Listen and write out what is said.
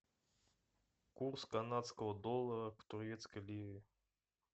курс канадского доллара к турецкой лире